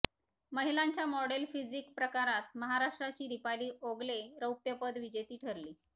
महिलांच्या model physique प्रकारात महाराष्ट्राची दिपाली ओगले रौप्यपदक विजेती ठरली